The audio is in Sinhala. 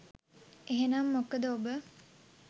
එහෙනම් මොකද ඔබ